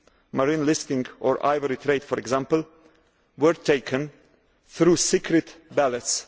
issues marine listing or ivory trade, for example were taken through secret ballots.